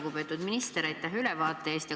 Lugupeetud minister, aitäh ülevaate eest!